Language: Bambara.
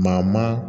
Maa maa